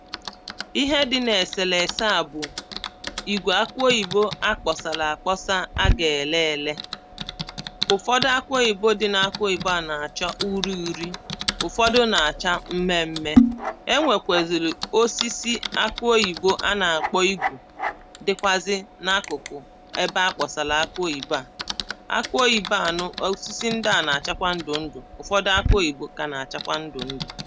Ihe dị na eselese a bụ̀ ìgʷè ákʊ́ óʲibó akpọsala akpọsa a ga-ele ele ụfọdụ akụ oyibo a dị na akụ oyibo na-acha uri uri ụfọdụ na-acha mmeme e nwekwaziri osisi akụ oyibo a na-akpọ igbo dịkwazị na akụkụ ebe akpọsala akụ oyibo à akụ oyibo nụ osisi ndị a na-achakwa ndụ ndụ̀ ụfọdụ akụ oyibo ka na-achakwa ndụ ndụ̀